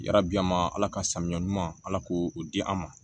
Yarabi an ma ala ka saniya ɲuman ala k'o di an ma